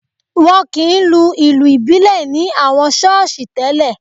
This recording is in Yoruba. Wọn kì í lu ìlù ìbílẹ̀ ní àwọn ṣọ́ọ̀ṣì tẹ́lè